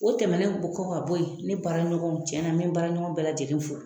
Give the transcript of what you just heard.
O tɛmɛnen kɔ ka bo yen ne baara ɲɔgɔnw cɛna n be n baara ɲɔgɔn bɛɛ lajɛlen fo